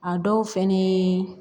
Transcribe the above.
A dɔw fɛnɛ ye